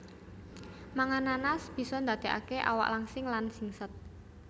Mangan nanas bisa ndadekaké awak langsing lan singset